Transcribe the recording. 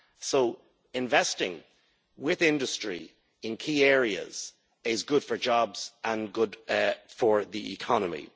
So investing with industry in key areas is good for jobs and good for the economy.